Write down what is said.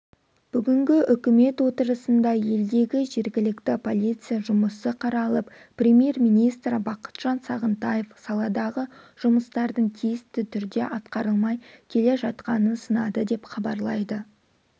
бүгінгі үкімет отырысында елдегі жергілікті полиция жұмысы қаралып премьер-министр бақытжан сағынтаев саладағы жұмыстардың тиісті түрде атқарылмай келе жатқанын сынады деп хабарлайды